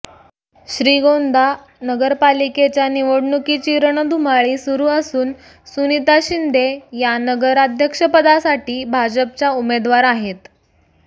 श्रीगोंदा नगरपालिकेच्या निवडणुकीची रणधुमाळी सुरु असून सुनिता शिंदे या नगराध्यक्षपदासाठी भाजपच्या उमेदवार आहेत